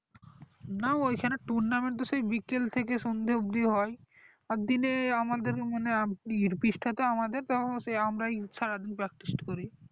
না ওইখানে tournament তো সেই বিকেল থেকে সন্ধ্যা অবধি হয় আর দিনে আমাদের পিচটা তো আমাদের তো সেই আমরাই সারাদিন practice করি